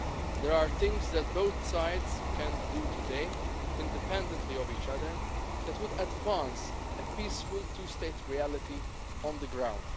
trying. There are things that both sides can do today independently of each other that would advance a peaceful two state reality on the